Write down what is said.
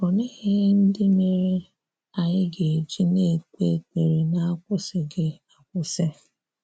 Òlee ihè ndị̀ merè anyị ga-ejì na-ekpè ekperé n’akwụsịghị̀ akwụsị?